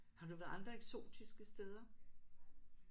Har du været andre eksotiske steder?